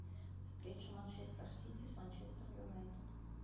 встреча манчестер сити с манчестер юнайтед